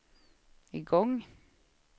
igång